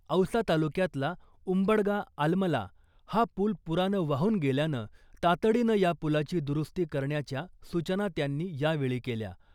औसा तालुक्यातला उंबडगा आलमला हा पूल पुरानं वाहून गेल्यानं तातडीनं या पुलाची दुरुस्ती करण्याच्या सूचना त्यांनी यावेळी केल्या .